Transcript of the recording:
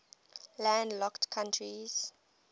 landlocked countries